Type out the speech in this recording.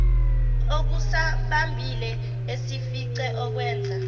okusambambile esifice ekwenza